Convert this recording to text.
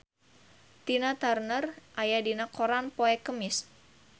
Tina Turner aya dina koran poe Kemis